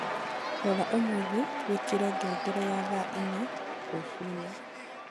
rora umuthi wĩkĩre ngengere ya thaa ĩnya rũcĩĩnĩ